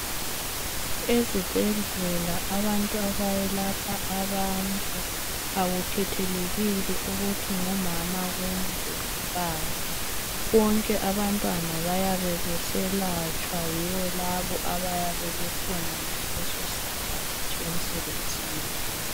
Ezibhedlela abantu abayelapha abantu akukhethelekile ukuthi ngumama kumbe ngubaba. Bonke abantwana bayabe beselatshwa yibo labo abayabe bekhona ngalesosikhathi emsebenzini.